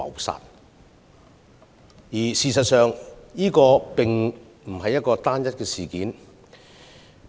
事實上，這並非單一事件。